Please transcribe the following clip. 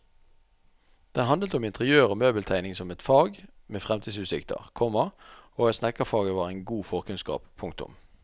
Den handlet om interiør og møbeltegning som et fag med fremtidsutsikter, komma og at snekkerfaget var en god forkunnskap. punktum